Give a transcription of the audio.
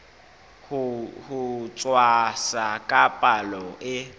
ho tshwasa ka palo e